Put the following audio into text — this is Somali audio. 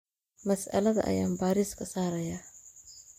Masaalada ayaan bariiska saarayaa.